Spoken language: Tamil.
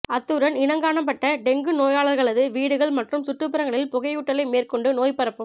அத்துடன் இனங்காணப்பட்ட டெங்கு நோயாளர்களது வீடுகள் மற்றும் சுற்றுப்புறங்களில் புகையூட்டலை மேற்கொண்டு நோய் பரப்பும்